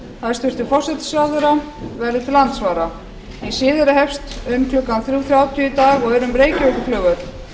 hæstvirtur forsætisráðherra verður til andsvara hin síðari hefst um klukkan þrjú þrjátíu í dag og er um reykjavíkurflugvöll